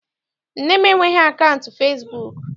Nne m enweghị akaụntụ fesibuuku.